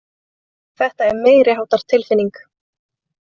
Þetta er meiriháttar tilfinning.